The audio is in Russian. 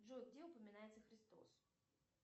джой где упоминается христос